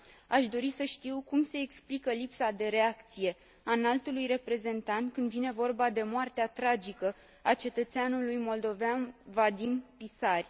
Aș dori să știu cum se explică lipsa de reacție a Înaltului Reprezentant când vine vorba de moartea tragică a cetățeanului moldovean Vadim Pisari.